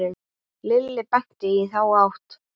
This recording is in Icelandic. Lilli benti í þá átt.